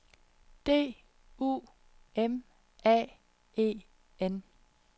D U M A E N